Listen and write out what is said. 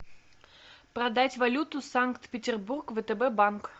продать валюту санкт петербург втб банк